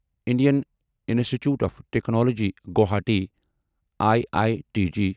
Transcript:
Indian institute of technology Guwahati I I T G